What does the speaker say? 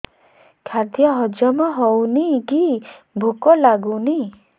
ଖାଦ୍ୟ ହଜମ ହଉନି କି ଭୋକ ଲାଗୁନି